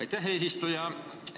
Aitäh, eesistuja!